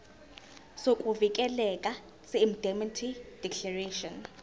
sokuvikeleka seindemnity declaration